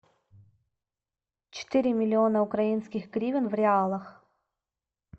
четыре миллиона украинских гривен в реалах